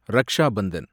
Raksha Bandhan